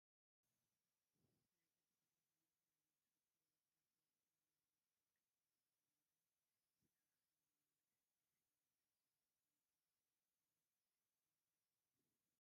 ናይ ቅድስት ድንግል ማርያም ምስ ፍቁር ወዳ ከምኡውን ናይ መስቀል ቅርፂ ዘለዎ ናይ ሰባኺ መደገፊ ይርአ ኣሎ፡፡ እዚ መደገፊ ጥቕሙ እንታይ እዩ?